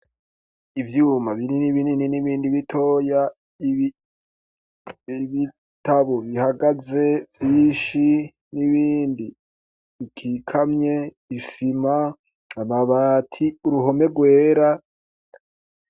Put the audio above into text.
Ivyuma binin'ibini ni n'ibindi bitoya iibitabo bihagaze vyishi n'ibindi ikikamye isima amabati uruhome rwera.